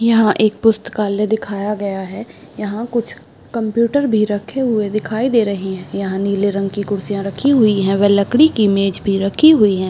यहाँ एक पुस्तकालय दिखाया गया है यहाँ कुछ कंप्यूटर भी रखे हुए दिखाई दे रहें हैं यहाँ नीले रंग की कुर्सियाँ रखी हुई हैं व लकड़ी की मेज भी रखी हुई हैं।